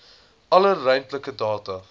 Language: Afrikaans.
alle ruimtelike data